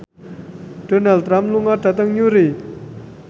Donald Trump lunga dhateng Newry